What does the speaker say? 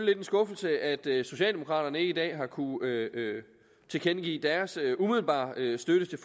lidt en skuffelse at socialdemokraterne ikke i dag har kunnet tilkendegive deres umiddelbare støtte til